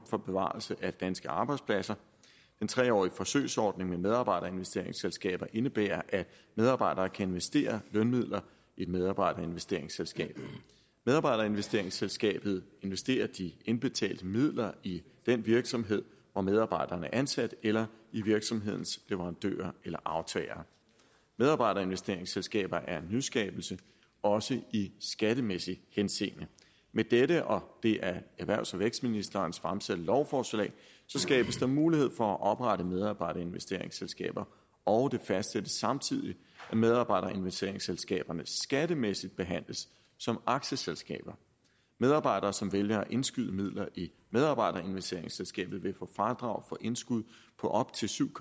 for bevarelse af danske arbejdspladser den tre årige forsøgsordning med medarbejderinvesteringsselskaber indebærer at medarbejdere kan investere lønmidler i et medarbejderinvesteringsselskab medarbejderinvesteringsselskabet investerer de indbetalte midler i den virksomhed hvor medarbejderen er ansat eller i virksomhedens leverandører eller aftagere medarbejderinvesteringsselskaber er en nyskabelse også i skattemæssig henseende med dette og det af erhvervs og vækstministeren fremsatte lovforslag skabes der mulighed for at oprette medarbejderinvesteringsselskaber og det fastsættes samtidig at medarbejderinvesteringsselskaberne skattemæssigt behandles som aktieselskaber medarbejdere som vælger at indskyde midler i medarbejderinvesteringsselskabet vil få fradrag for indskud på op til syv